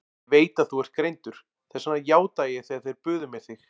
Ég veit að þú ert greindur, þess vegna játaði ég þegar þeir buðu mér þig.